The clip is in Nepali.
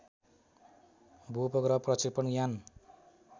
भूउपग्रह प्रक्षेपण यान